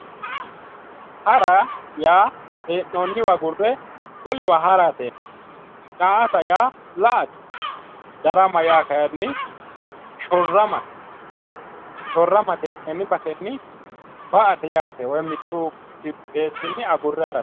Hara yaa he'nooniwa agurre wolewa harate daa'ata yaa la"ate darama yaa kayinni shortamate he'neemo bayichinni ba"ate yaate woyi mittu kipheesinni agurre harate